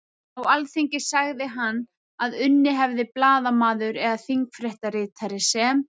Á Alþingi sagði hann að unnið hefði blaðamaður eða þingfréttaritari sem